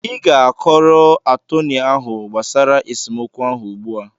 Ị ga-akọrọ atọnị ahụ gbasara esemokwu ahụ ugbu a!